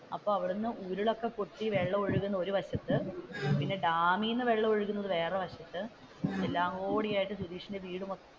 അപ്പൊ അവിടെന്നു ഉരുൾ ഒക്കെ പൊട്ടി വെള്ളമൊക്കെ ഒഴുകുന്ന ഒരു വശത്തു പിന്നെ ഡാമിൽ നിന്ന് വെള്ളമൊഴുകുന്നത് വേറെ ഒരു വശത്തു എല്ലാം കൂടിയായിട്ട് സുതീഷിന്റെ വീട്,